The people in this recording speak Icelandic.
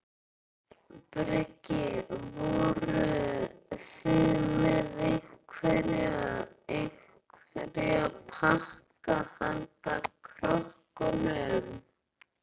Breki: Voruð þið með einhverja, einhverja pakka handa krökkunum?